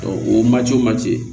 o ma cɔ ma ce